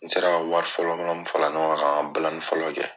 N sera ka wari fɔlɔ fɔlɔ mi fara ɲɔgɔn kan ka an ka balani fɔlɔ kɛ